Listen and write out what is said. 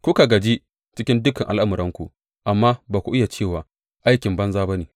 Kuka gaji cikin dukan al’amuranku, amma ba ku iya cewa, Aikin banza ne ba.’